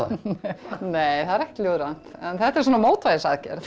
nei það er ekkert ljóðrænt en þetta er svona mótvægisaðgerð